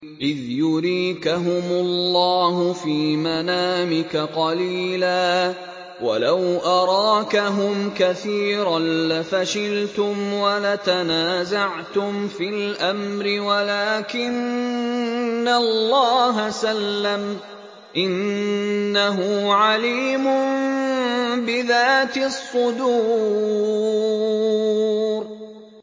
إِذْ يُرِيكَهُمُ اللَّهُ فِي مَنَامِكَ قَلِيلًا ۖ وَلَوْ أَرَاكَهُمْ كَثِيرًا لَّفَشِلْتُمْ وَلَتَنَازَعْتُمْ فِي الْأَمْرِ وَلَٰكِنَّ اللَّهَ سَلَّمَ ۗ إِنَّهُ عَلِيمٌ بِذَاتِ الصُّدُورِ